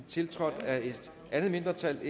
tiltrådt af et mindretal